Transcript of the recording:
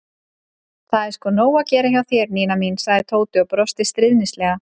Það er sko nóg að gera hjá þér, Nína mín sagði Tóti og brosti stríðnislega.